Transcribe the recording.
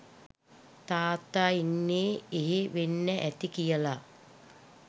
තාත්තා ඉන්නේ එහෙ වෙන්න ඇති කියලා